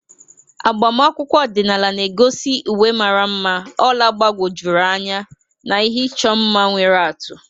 Agbamakwụkwọ ọdịnala na-egosi uwe mara mma, ọla gbagwojuru anya na ihe ịchọ mma nwere atụ.